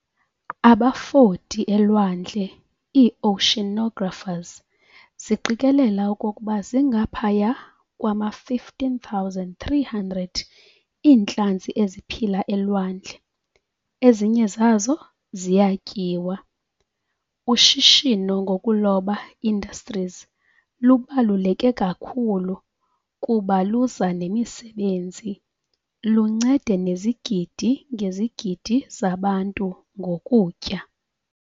Abafoti elwandle, ii-Oceanographers, ziqikelela okokuba zingaphaya kwama-15, 300 iintlanzi eziphila elwandle, ezinye zazo ziyatyiwa . Ushishino ngokuloba industries lubaluleke kakhulu kuba luza nemisebenzi, luncede nezigidi-ngezigidi zabantu ngokutya.